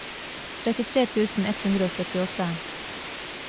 trettitre tusen ett hundre og syttiåtte